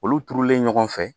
Olu turulen ɲɔgɔn fɛ